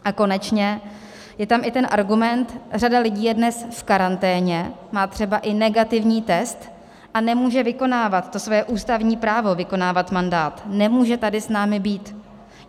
A konečně - je tam i ten argument, řada lidí je dnes v karanténě, má třeba i negativní test a nemůže vykonávat to svoje ústavní právo vykonávat mandát, nemůže tady s námi být.